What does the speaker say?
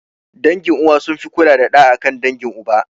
Dangin uwa sun fi kula da ɗa akan dangin uba